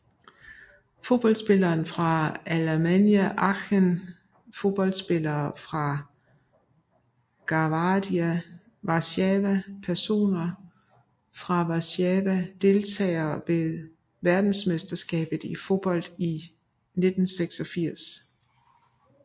Fodboldspillere fra Alemannia Aachen Fodboldspillere fra Gwardia Warszawa Personer fra Warszawa Deltagere ved verdensmesterskabet i fodbold 1986